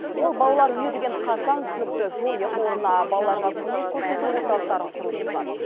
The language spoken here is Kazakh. ол балалар үйі деген қасаң түсінікті жойып орнына балаларға көмек көрсету орталықтарын құруды ұсынады